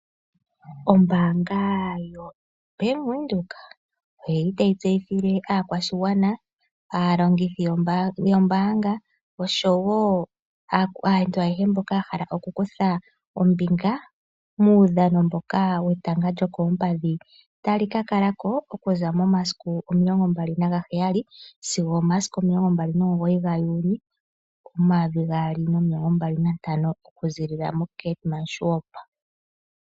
Ombaanga yaVenduka otayi tseyithile aakwashigwana,,aalongithi yombaanga oshowo aantu ayehe mboka yahala okukutha ombinga muudhano mboka wetanga lyokoompadhi. Otali kakalako okuza momasiku omilongombali nagaheyali sigo omasiku omilongo mbaku nomugoyi ga juuli ,omayovi gaali nomilongombali nantano okuziilila mo Keetmanshoop.